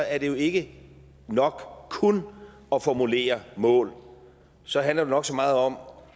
er det jo ikke nok kun at formulere mål så handler det nok så meget om